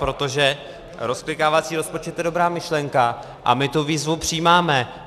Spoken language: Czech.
Protože rozklikávací rozpočet je dobrá myšlenka a my tu výzvu přijímáme.